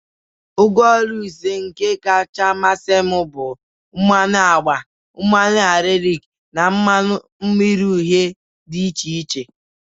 Ngwa Oru ise ihe kacha masị m bụ mmanụ agba, mmanu akrelik, na mmanu mmiri uhie di iche iche.